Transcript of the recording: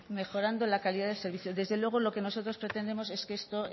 mejorando la calidad del servicio desde luego lo que nosotros pretendemos es que esto